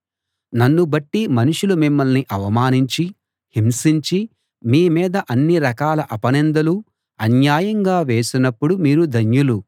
నన్ను బట్టి మనుషులు మిమ్మల్ని అవమానించి హింసించి మీమీద అన్ని రకాల అపనిందలు అన్యాయంగా వేసినప్పుడు మీరు ధన్యులు